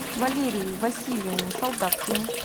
валерией васильевной солдаткиной